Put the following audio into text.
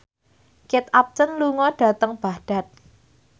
Kate Upton lunga dhateng Baghdad